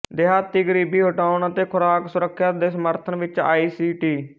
ਦਿਹਾਤੀ ਗਰੀਬੀ ਹਟਾਉਣ ਅਤੇ ਖੁਰਾਕ ਸੁਰੱਖਿਆ ਦੇ ਸਮਰਥਨ ਵਿੱਚ ਆਈ ਸੀ ਟੀ